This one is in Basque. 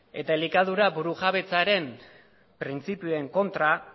eta elikadura burujabetzaren printzipioen kontra